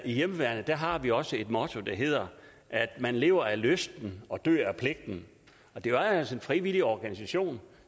i hjemmeværnet har vi også et motto der hedder man lever af lysten og dør af pligten det er altså en frivillig organisation